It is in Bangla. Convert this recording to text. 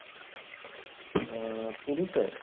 আহ পুরীতে?